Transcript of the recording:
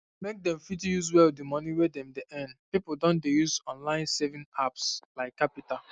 make dem fit use well di money wey dem dey earn people don dey use online saving apps like qapital